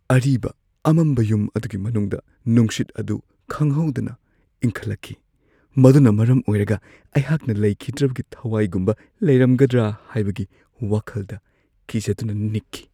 ꯑꯔꯤꯕ ꯑꯃꯝꯕ ꯌꯨꯝ ꯑꯗꯨꯒꯤ ꯃꯅꯨꯡꯗ ꯅꯨꯡꯁꯤꯠ ꯑꯗꯨ ꯈꯪꯍꯧꯗꯅ ꯏꯪꯈꯠꯂꯛꯈꯤ, ꯃꯗꯨꯅ ꯃꯔꯝ ꯑꯣꯏꯔꯒ ꯑꯩꯍꯥꯛꯅ ꯂꯩꯈꯤꯗ꯭ꯔꯕꯒꯤ ꯊꯋꯥꯏꯒꯨꯝꯕ ꯂꯩꯔꯝꯒꯗ꯭ꯔꯥ ꯍꯥꯏꯕꯒꯤ ꯋꯥꯈꯜꯗ ꯀꯤꯖꯗꯨꯅ ꯅꯤꯛꯈꯤ ꯫